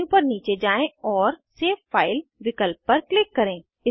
menu पर नीचे जाएँ और सेव फाइल विकल्प पर क्लिक करें